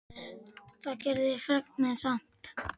Það gerði fregnin samt.